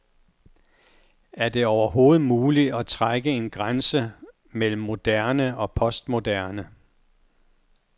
Er det overhovedet muligt at trække en grænse mellem moderne og postmoderne.